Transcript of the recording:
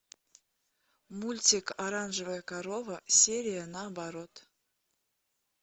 мультик оранжевая корова серия наоборот